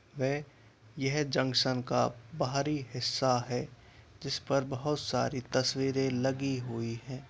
व यह जंक्शन का बाहरी हिस्सा है जिसपर बहुत सारी तस्वीरें लगी हुई है।